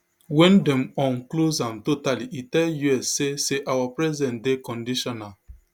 wen dem um close am totally e tell us say say our presence dey conditional